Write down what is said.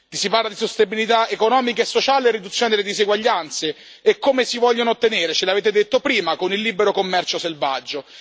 Si parla di sostenibilità economica e sociale e riduzione delle diseguaglianze e come si vogliono ottenere, ce l'avete detto prima, con il libero commercio selvaggio.